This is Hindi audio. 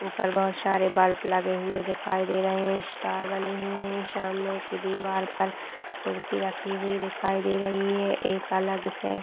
ऊपर बहोत सारे बल्ब लगे हुए दिखाई दे रहे हैं स्टार बने हुए हैं सामने की दिवार पर कुर्सी रखी हुई दिखाई दे रही है एक अलग से --